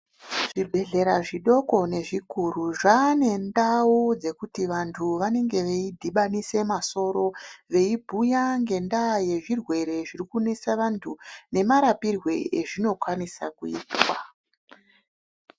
Zvibhedhlera zvidoko nezvikuru zvane ndau dzekuti vantu vanenge veidhibanise masoro veibhuya ngendaa yezvirwere zviri kunesa vantu nemarapirwe azvinokwanisa kuitwa.